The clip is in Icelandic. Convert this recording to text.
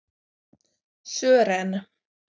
Sören